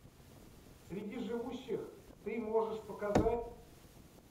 среди живущих ты можешь показать